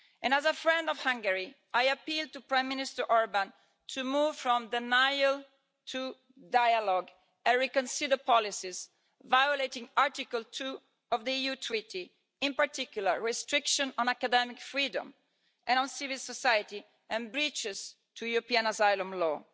As a friend of Hungary, I appeal to Prime Minister Orbán to move from denial to dialogue and to reconsider policies violating Article 2 of the EU Treaty, in particular restrictions on academic freedom and on civil society, and breaches of European asylum law.